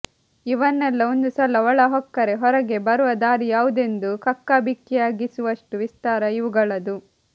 ಇವನ್ನೆಲ್ಲ ಒಂದು ಸಲ ಒಳಹೊಕ್ಕರೆ ಹೊರಗೆ ಬರುವ ದಾರಿ ಯಾವುದೆಂದು ಕಕ್ಕಾಬಿಕ್ಕಿಯಾಗಿಸುವಷ್ಟು ವಿಸ್ತಾರ ಇವುಗಳದು